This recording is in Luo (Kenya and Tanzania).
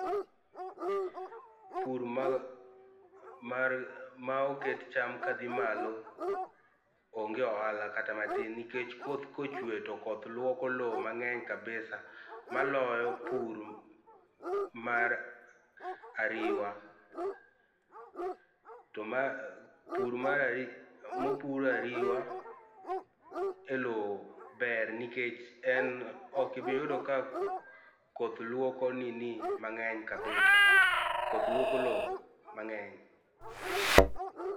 Pur mar, mar, ma oket cham kadhi malo onge ohala kata matin nikech koth kochwe to koth luoko loo mangeny kabisa maloyo pur mar ariwa, to ma, pur mar ariw, mopur ariwa e lowo ber nikech en ok ibi yudo ka koth luoko nini mangeny kabisa, koth luoko lowo mangeny